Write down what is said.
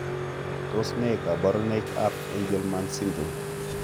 Tos ne kaborunoik ab angelman syndrome?